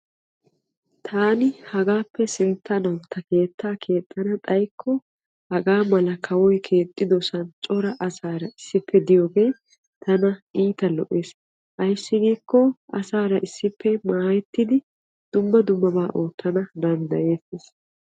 Taani hagaappe sinttanawu ta keettaa keexxana xayikko hagaa mala kawoy keexxidosan cora asaara issippe diyoge tana iita lo'es. Ayissi giikko asaara issippe maayettidi dumma dummaba oottana dandayettes.